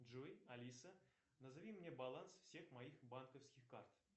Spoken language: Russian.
джой алиса назови мне баланс всех моих банковских карт